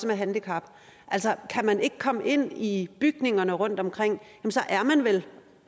med handicap altså kan man ikke komme ind i bygningerne rundtomkring er man vel